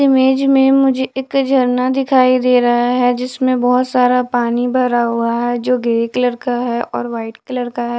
Image में मुझे एक झरना दिखाई दे रहा हैं जिसमे बहुत सारा पानी भरा हुआ हैं जो ग्रे कलर का हैं और वाइट कलर का हैं।